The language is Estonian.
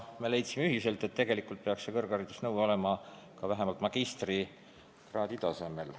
Me leidsime ühiselt, et tegelikult peaks see kõrghariduse nõue olema vähemalt magistrikraadi tasemel.